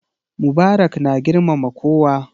Mubarak na girmama kowa.